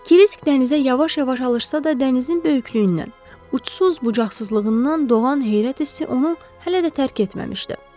Kirisk dənizə yavaş-yavaş alışsa da, dənizin böyüklüyündən, uçsuz-bucaqsızlığından doğan heyrət hissi onu hələ də tərk etməmişdi.